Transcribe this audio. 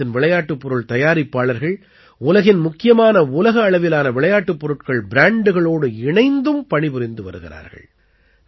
பாரதத்தின் விளையாட்டுப் பொருள் தயாரிப்பாளர்கள் உலகின் முக்கியமான உலக அளவிலான விளையாட்டுப் பொருட்கள் ப்ராண்டுகளோடு இணைந்தும் பணிபுரிந்து வருகிறார்கள்